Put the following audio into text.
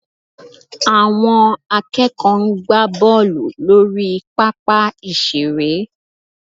Àwọn akẹ́kọ̀ọ́ ń gbá bọ́ọ̀lù lórí pápá ìṣeré